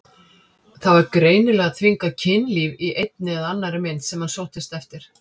Það var greinilega þvingað kynlíf í einni eða annarri mynd sem hann sóttist eftir.